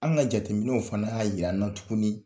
An ka jateminɛw fana y'a yir'an na tuguni